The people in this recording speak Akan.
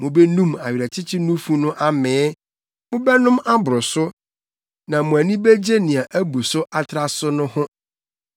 Mubenum nʼawerɛkyekye nufu no amee; mobɛnom aboro so na mo ani begye nea abu so atra so no ho.